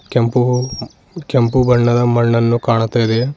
ಕೆಂಪು ಕೆಂಪು ಬಣ್ಣದ ಮಣ್ಣನ್ನು ಕಾಣುತ್ತದೆ.